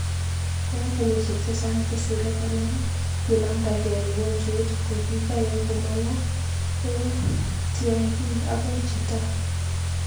Engenyishek chechang chesire konom, kinamndagei mugojwet kokikoe komang'u ek tyang'ii agoi jitaa.